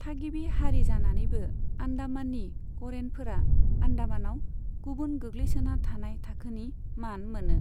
थागिबि हारि जानानैबो आन्डामाननि करेनफोरा आन्डामानाव गुबुन गोग्लैसोना थानाय थाखोनि मान मोनो।